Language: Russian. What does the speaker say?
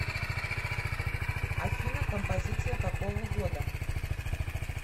афина композиция какого года